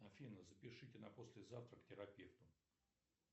афина запишите на послезавтра к терапевту